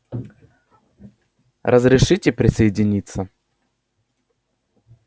разрешите присоединиться